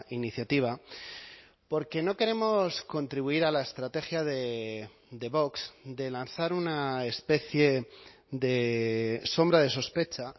iniciativa porque no queremos contribuir a la estrategia de vox de lanzar una especie de sombra de sospecha